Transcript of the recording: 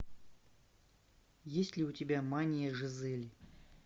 есть ли у тебя мания жизели